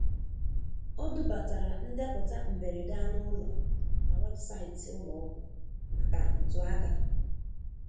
Ọ dubatara ndeputa mberede anụ ụlọ na webụsaịtị ụlọ ọgwụ maka ntụaka.